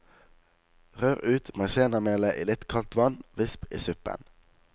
Rør ut maisennamelet i litt kaldt vann, visp i suppen.